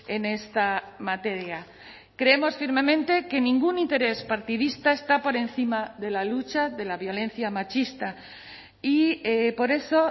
en esta materia creemos firmemente que ningún interés partidista está por encima de la lucha de la violencia machista y por eso